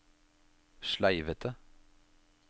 sleivete